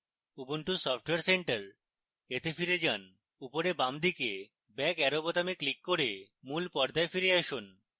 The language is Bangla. ubuntu software center এ ফিরে যান